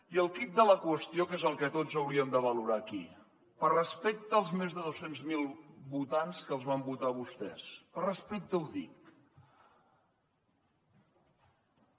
i el quid de la qüestió que és el que tots hauríem de valorar aquí per respecte als més de dos cents miler votants que els van votar a vostès per respecte ho dic